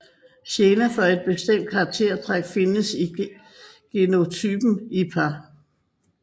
Gener for et bestemt karaktertræk findes i genotypen i par